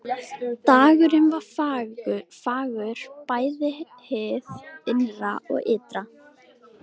Dagurinn var fagur bæði hið innra og ytra.